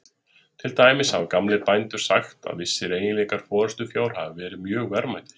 Til dæmis hafa gamlir bændur sagt að vissir eiginleikar forystufjár hafi verið mjög verðmætir.